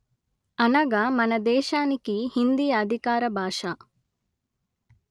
అనగా మన దేశానికి హిందీ అధికార భాష